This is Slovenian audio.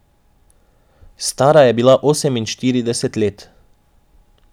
Stara je bila oseminštirideset let.